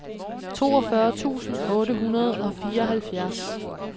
toogfyrre tusind otte hundrede og fireoghalvfjerds